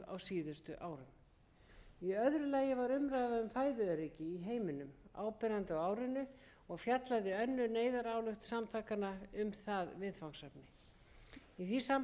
í heiminum áberandi á árinu og fjallaði önnur neyðarályktun samtakanna um það viðfangsefni í því sambandi var sjónum meðal annars beint að þúsaldarmarkmiði sameinuðu þjóðanna